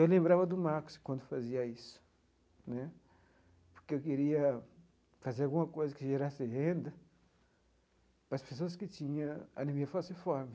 Eu lembrava do Marcos quando fazia isso né, porque eu queria fazer alguma coisa que gerasse renda para as pessoas que tinha anemia falciforme.